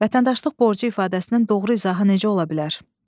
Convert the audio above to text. Vətəndaşlıq borcu ifadəsinin doğru izahı necə ola bilər?